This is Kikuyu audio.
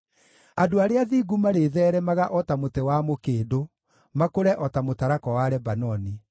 Andũ arĩa athingu marĩtheeremaga o ta mũtĩ wa mũkĩndũ, makũre o ta mũtarakwa wa Lebanoni;